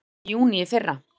Kreppunni lauk í júní í fyrra